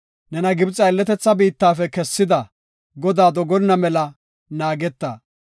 nena Gibxe aylletetha biittafe kessida, Godaa dogonna mela naageta.